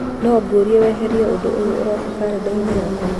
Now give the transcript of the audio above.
no ngũrie weherie ũndũ ũyũ ũrooka karenda-inĩ yakwa